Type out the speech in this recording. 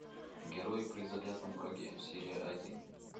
герой при заклятом враге серия один